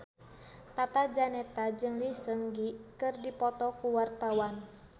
Tata Janeta jeung Lee Seung Gi keur dipoto ku wartawan